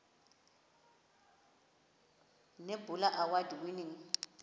nebula award winning